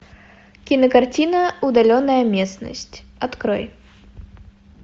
кинокартина удаленная местность открой